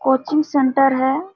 Coaching centre है।